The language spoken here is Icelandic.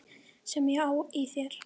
Sem ég á í þér.